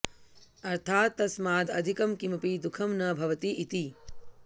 अर्थात् तस्माद् अधिकं किमपि दुःखं न भवति इति